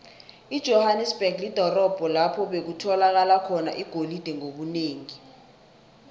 ijohanesberg lidorobho lapho bekutholakala khona igolide ngobunengi